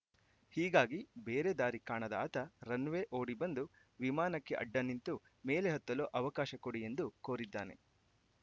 ಹೀಗಾಗಿ ಬೇರೆ ದಾರಿ ಕಾಣದ ಆತ ರನ್‌ವೇ ಓಡಿಬಂದು ವಿಮಾನಕ್ಕೆ ಅಡ್ಡನಿಂತು ಮೇಲೆ ಹತ್ತಲು ಅವಕಾಶ ಕೊಡಿ ಎಂದು ಕೋರಿದ್ದಾನೆ